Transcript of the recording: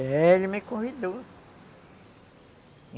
É, ele me convidou.